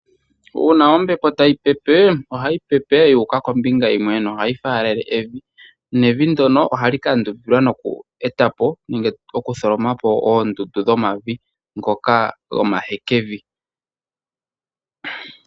Uuna ombepo tayi pepe, ohayi pepe yuuka kombinga yimwe, nohayi faalele evi. Nevi ndyono ohali kandumbilwa nokweetapo nenge okutholomapo oondundu dhomavi ngoka gomahekevi.